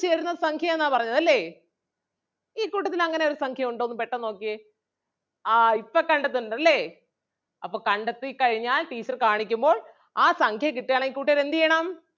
ചേരുന്ന സംഖ്യ ആന്നാ പറഞ്ഞത് അല്ലേ ഈ കൂട്ടത്തിൽ അങ്ങനെ ഒരു സംഖ്യ ഉണ്ടോന്ന് പെട്ടെന്ന് നോക്കിയേ ആഹ് ഇപ്പം കണ്ടിട്ടുണ്ട് അല്ലേ അപ്പം കണ്ടെത്തി കഴിഞ്ഞാൽ teacher കാണിക്കുമ്പോൾ ആ സംഖ്യ കിട്ടുകയാണെങ്കിൽ കൂട്ടുകാർ എന്ത് ചെയ്യണം?